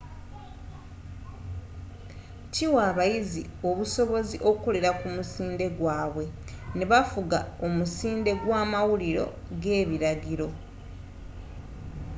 kiwa abayizi obusobozi okukolela ku musinde gwaabwe ne bafuga omusinde gw'amawulire g'ebilagiro